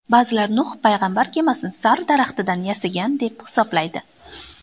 Ba’zilar Nuh payg‘ambar kemasini sarv daraxtidan yasagan deb hisoblaydi.